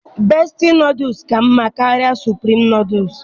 Bestie nodles ka mma karịa supreme nodles